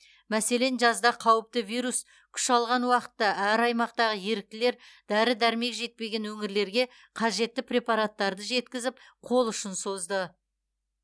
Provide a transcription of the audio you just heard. мәселен жазда қауіпті вирус күш алған уақытта әр аймақтағы еріктілер дәрі дәрмек жетпеген өңірлерге қажетті препараттарды жеткізіп қол ұшын созды